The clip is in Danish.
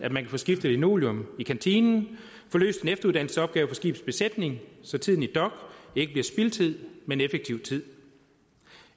at man kan få skiftet linoleum i kantinen få løst en efteruddannelsesopgave for skibets besætning så tiden i dok ikke bliver spildtid men effektiv tid